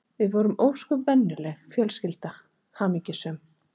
Við vorum ósköp venjuleg fjölskylda, hamingjusöm.